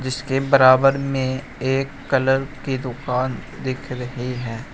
इसके बराबर में एक कलर की दुकान दिख रही है।